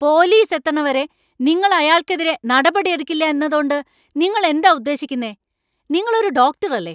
Police എത്തണവരെ നിങ്ങൾ അയാൾക്കെതിരെ നടപടിയെടുക്കില്ല എന്നതോണ്ട് നിങ്ങൾ എന്താ ഉദ്ദേശിക്കുന്നെ? നിങ്ങൾ ഒരു ഡോക്ടറല്ലേ?